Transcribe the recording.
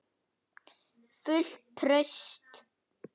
Fullt traust?